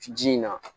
Ji in na